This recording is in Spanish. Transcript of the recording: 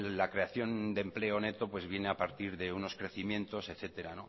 la creación de empleo neto viene a partir de unos crecimientos etcétera